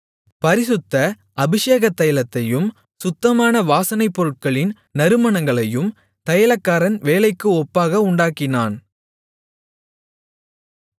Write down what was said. பரிசுத்த அபிஷேகத் தைலத்தையும் சுத்தமான வாசனைப்பொருட்களின் நறுமணங்களையும் தைலக்காரன் வேலைக்கு ஒப்பாக உண்டாக்கினான்